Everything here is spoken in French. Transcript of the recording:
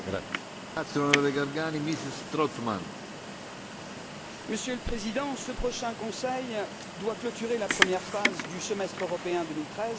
Monsieur le Président, ce prochain Conseil doit clôturer la première phase du semestre européen 2013 pour la coordination des politiques budgétaires et économiques des États membres.